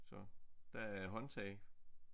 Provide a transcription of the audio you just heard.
Så der er håndtag